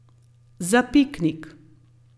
Za piknik.